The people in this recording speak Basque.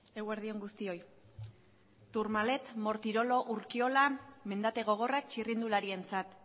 eguerdi on guztioi tourmalet mortirolo urkiola mendate gogorrak txirrindularientzat